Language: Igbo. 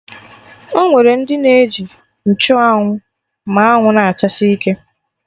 Ọnwere ndị na-eji nchụ anwụ ma anwụ na-achasi ike